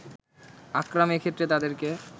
আকরাম এক্ষেত্রে তাদেরকে